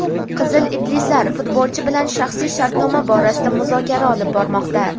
"Qizil iblislar" futbolchi bilan shaxsiy shartnoma borasida muzokara olib bormoqda.